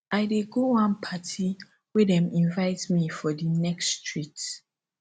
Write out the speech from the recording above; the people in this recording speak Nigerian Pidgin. i dey go one party wey dem invite me for di next street